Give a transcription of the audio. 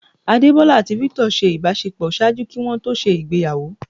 Adebola ati Victor ṣe ibàṣepọ ṣaaju kí wọn ṣe ìgbéyàwó.